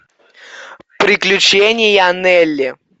приключения нелли